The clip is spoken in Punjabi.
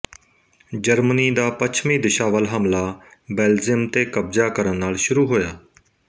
ਜਰਮਨੀ ਦਾ ਪੱਛਮੀ ਦਿਸ਼ਾ ਵੱਲ ਹਮਲਾ ਬੇਲਜਿਅਮ ਤੇ ਕਬਜ਼ਾ ਕਰਨ ਨਾਲ ਸ਼ੁਰੂ ਹੋਇਆ